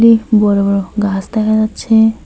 বড় বড় গাছ দেখা যাচ্ছে।